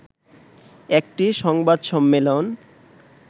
একটি সংবাদ সম্মেলন